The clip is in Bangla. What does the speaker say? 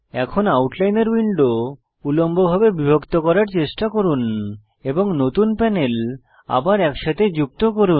এখন আউটলাইনর উইন্ডো উল্লম্বভাবে বিভক্ত করার চেষ্টা করুন এবং নতুন প্যানেল আবার একসঙ্গে যুক্ত করুন